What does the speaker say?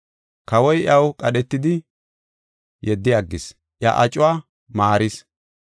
Kawoy iyaw qadhetidi, yeddi aggis; iya acuwa maaris.